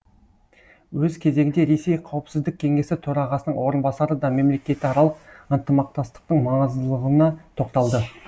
өз кезегінде ресей қауіпсіздік кеңесі төрағасының орынбасары да мемлекетаралық ынтымақтастықтың маңыздылығына тоқталды